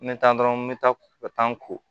N bɛ taa dɔrɔn me taa ka taa ko